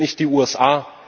Wir sind nicht die USA.